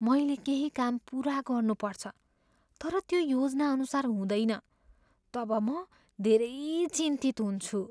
मैले केही काम पुरा गर्नुपर्छ तर त्यो योजनाअनुसार हुँदैन तब म धेरै चिन्तित हुन्छु।